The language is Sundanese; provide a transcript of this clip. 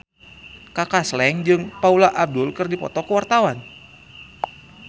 Kaka Slank jeung Paula Abdul keur dipoto ku wartawan